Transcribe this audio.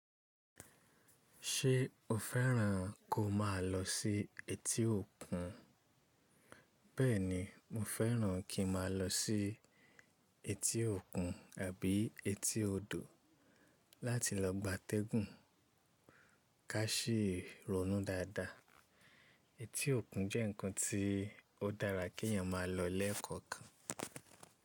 Ṣé o fẹ́ràn kó máa lọ sí etí òkun? Bẹ́ẹ̀ni, mo fẹ́ràn kí n máa lọ sí etí òkun àbí etí odò láti lọ gbátẹ́gùn. Ká sì ronú dáadáa, etí òkun jẹ́ ǹkan tí ó dára kí èèyàn máa lọ lẹ́ẹ̀kọ̀kan.